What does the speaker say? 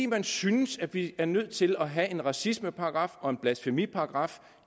man synes vi er nødt til at have en racismeparagraf og en blasfemiparagraf